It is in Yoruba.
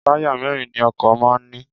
Táyà mẹ́ẹ́rin ni ọkọ̀ máà ń ní